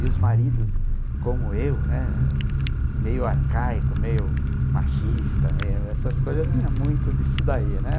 E os maridos, como eu, né, meio arcaico, meio machista, essas coisas, eu tinha muito disso daí.